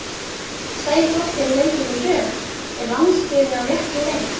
Tveir flottir leikir í röð, er landsliðið á réttri leið?